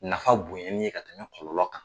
Nafa bonɲɛli ye ka tɛmɛ kɔlɔlɔn kan.